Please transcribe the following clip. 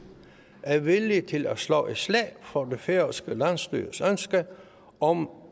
er villig til at slå et slag for det færøske landsstyres ønske om